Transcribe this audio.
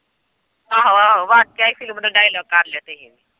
ਆਹੋ-ਆਹੋ ਬਾਕਇ ਫਿਲਮ ਦਾ ਡਾਇਲਾੱਗ ਕਰ ਲੈਂਦੇ ਹੀ।